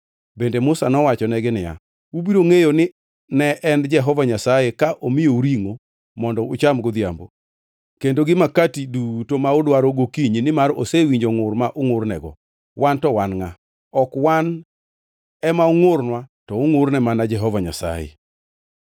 Bende Musa nowachonegi niya, “Ubiro ngʼeyo ni ne en Jehova Nyasaye ka omiyou ringʼo mondo ucham godhiambo kendo gi Makati duto ma udwaro gokinyi nimar osewinjo ngʼur ma ungʼurnego. Wan to wan ngʼa? Ok wan ema ungʼurnwa to ungʼurne mana Jehova Nyasaye.”